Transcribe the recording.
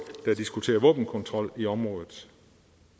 der diskuterer våbenkontrol i området